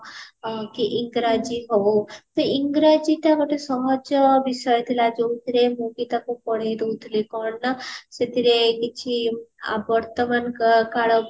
ହଁ କି ଇଂରାଜୀ ହଉ ତ ଇଂରାଜୀ ଟା ଗୋଟେ ସହଜ ବିଷୟ ଥିଲା ଯୋଉଥିରେ ମୁଁ ବି ତାକୁ ପଢେଇ ଦଉଥିଲି କଣ ନା ସେଥିରେ କିଛି ଆ ବର୍ତ୍ତମାନ କାଳ